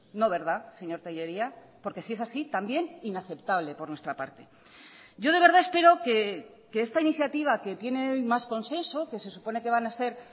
no verdad señor tellería porque si es así también inaceptable por nuestra parte yo de verdad espero que esta iniciativa que tiene hoy más consenso que se supone que van a ser